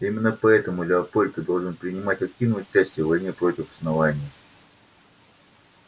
именно поэтому леопольд ты должен принимать активное участие в войне против основания